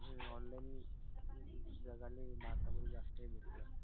जगाले भारतामध्ये जास्तय